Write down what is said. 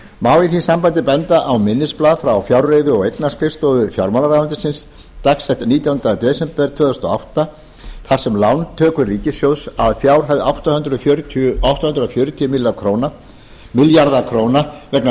má í því sambandi benda á minnisblað frá fjárreiðu og eignaskrifstofu fjármálaráðuneytisins dags nítjánda des tvö þúsund og átta þar sem lántökur ríkissjóðs að fjárhæð átta hundruð fjörutíu milljarðar króna vegna